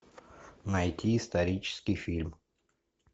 найти исторический фильм